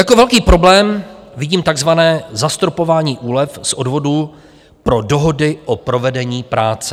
Jako velký problém vidím tzv. zastropování úlev z odvodů pro dohody o provedení práce.